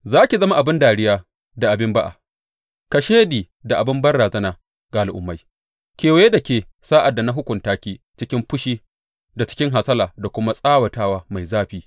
Za ki zama abin dariya da abin ba’a, kashedi da abin banrazana ga al’ummai kewaye da ke sa’ad da na hukunta ki cikin fushi da cikin hasala da kuma tsawatawa mai zafi.